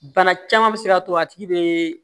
Bana caman bɛ se k'a to a tigi bɛ